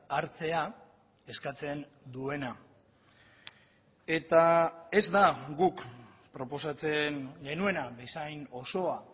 hartzea eskatzen duena eta ez da guk proposatzen genuena bezain osoa